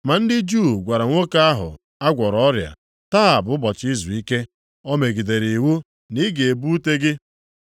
Ma ndị Juu gwara nwoke ahụ a gwọrọ ọrịa, “Taa bụ ụbọchị izuike, o megidere iwu na ị ga-ebu ute gị.”